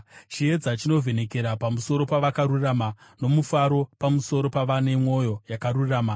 Chiedza chinovhenekera pamusoro pavakarurama, nomufaro pamusoro pavane mwoyo yakarurama.